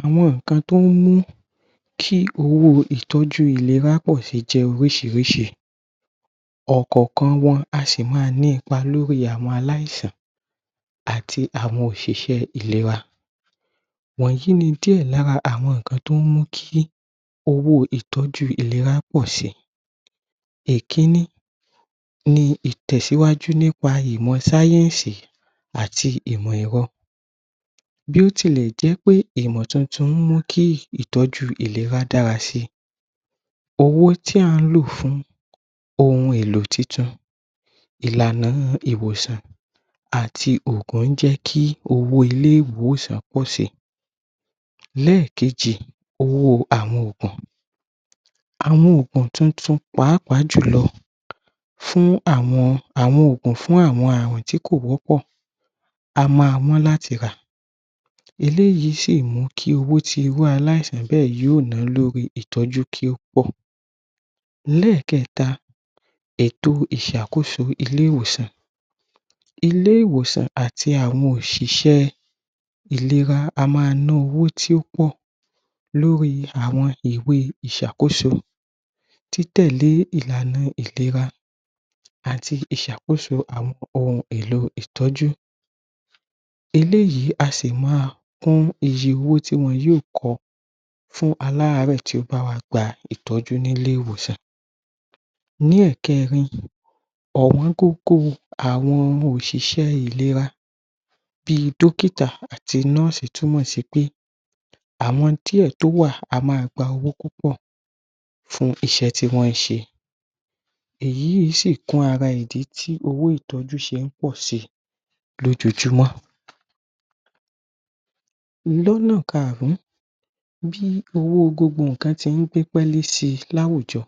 Àwọn nnkan tí ó ń mú kí owó ìtọ́jú ìléra pọ̀ síìjẹ́ oríṣiríṣi ọ̀kọ̀ọ̀kan wọn sì máa n ní ipa lórí àwọn aláìsàn àti àwọn òṣìṣẹ́ ìléra wọ̀nyìí ni díẹ̀ lára àwọn nǹkan tí ó mú kí owó ìtọ́jú ìléra pọ̀ si ìkíní ni ìtẹ̀sìwájú nípa ìmọ̀ sáyẹ̀nsì àti ìmọ̀ ẹ̀rọ bí ó tilẹ̀ jẹ́ wí pé ìmọ̀ tuntun mú ìtọ́jú ìléra dára si owo tí à ń ló fun ohun èlò tuntun ìlànà nínú ìwòsàn àti òògùn ń jẹ kí owó ilé-ìwòsàn pọ̀ sí Lẹ́ẹ̀kejì owó àwọn òògùn àwọn òògùn tuntun pàápàá jùlọ fún àwọn oògùn fún àrùn tí kò wọ́pọ̀ a máa wọ́n láti rà eléyìí sì lè mú kí owó tí irú aláìsàn bẹ̀ yóò náà lórí ìtọ́jú kí yóò pọ̀ lẹ́ẹ̀kẹta ètò ìṣàkóso ilé-ìwòsàn ilé-ìwòsàn àti àwọn òṣìṣẹ́ ìléra á ma ná owó púpọ̀ lórí àwọn ìwé ìṣàkóso títẹ̀lé ìlànà ìléra àti ìṣàkóso àwọn ohun èlò ìtọ́jú eléyìí a sì má kún iye owó tí wọ́n yò kọ fún alàárẹ̀ tí ó bá wá gba ìtọ́jú ni ilé-ìwòsàn ní ẹ̀kẹrin ọ̀wọ́n gógó àwọn ọmọ òṣìṣẹ́ ìléra bí dókítà àti nóòsì tún mọ̀ sí pé àwọn díẹ̀ tí ó wà a ma gba owó púpọ̀ fún iṣẹ́ tí wọn ṣe èyí sì kún ara ìdí tí owó ìtọ́jú ṣé ń pọ̀si lójojúmọ́ lọ́nà kaàrún bí owó gbogbo nǹkan tí ń dípélé si ní àwùjọ